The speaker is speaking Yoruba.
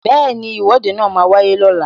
Bẹẹni, Ìwọ́de máa wáyé lọ́la